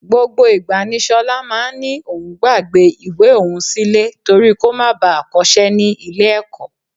Gbogbo ìgbà ni ṣọlá máa ń ní òun gbàgbé ìwé òun sílẹ̀ torí kó má baà kọṣẹ́ ní ilé ẹ̀kọ́